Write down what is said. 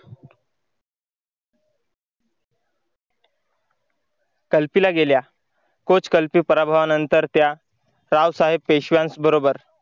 कल्पिला गेल्या तोच कल्पी पराभवानंतर त्या रावसाहेब पेशव्यांस बरोबर